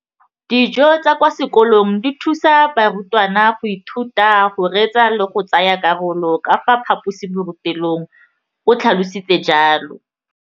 Dijo tsa kwa sekolong dithusa barutwana go ithuta, go reetsa le go tsaya karolo ka fa phaposiborutelong, o tlhalositse jalo.